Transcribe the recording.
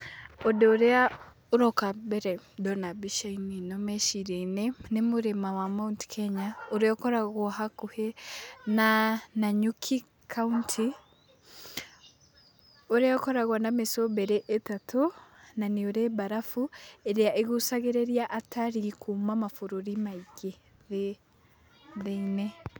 Ũndũ ũrĩa ũroka mbere ndona mbica-inĩ ĩno meciriainĩ, nĩ mũrĩma wa Mount Kenya ũrĩa ũkoragwo hakuhĩ na Nanyuki kauntĩ, ũrĩa ũkoragwo na mĩcũmbĩri ĩtatũ na nĩ ũrĩ mbarafu ĩrĩa ĩgucagĩrĩria atarii kuma mabũrũri maingĩ.